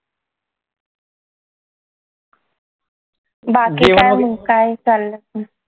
बाकी काय चालंय?